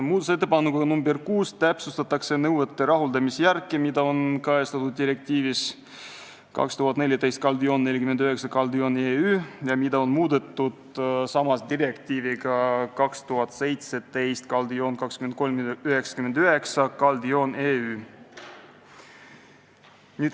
Muudatusettepanekuga nr 6 täpsustatakse nõuete rahuldamise järke, mida on kajastatud direktiivis 2014/49/EÜ ja mida on muudetud direktiiviga 2017/2399/EÜ.